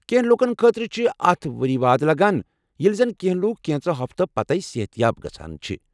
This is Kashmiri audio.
کینٛہہ لوٗکن خٲطرٕ چھ اتھ ؤری واد لگان، ییلہ زن کینٛہہ لُکھ کینژو ہفتو پَتٕے صحت یاب گژھان چھِ ۔